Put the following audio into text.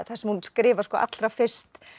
þar sem hún skrifar allra fyrst